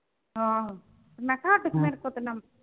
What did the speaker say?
ਹਾਂ ਮਖਾ ਆਹ ਪਿੱਛੇ ਪਤਾ ਮੈਨੂੰ।